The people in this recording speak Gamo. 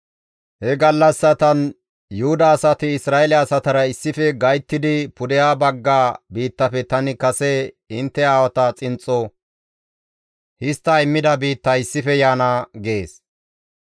He gallassatan Yuhuda asati Isra7eele asatara gayttidi pudeha bagga biittafe tani kase intte aawatas xinxxo histta immida biitta issife yaana» gees.